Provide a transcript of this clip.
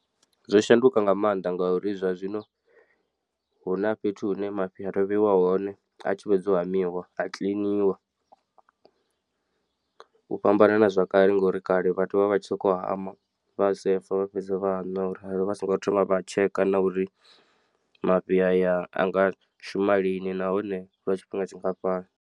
Zwo shanduka nga maanḓa ngauri zwa zwino hu na fhethu hune mafhi a to vheiwa hone a tshi fhedza u hamiwa a kiḽiniwa. U fhambana na zwakale ngori kale vhathu vha vha vha tshi sokou hama vha sefa vha fhedza vha a nwa orali vha songo thoma vha tsheka na uri mafhi aya a nga shuma lini nahone lwa tshifhinga tshingafhani.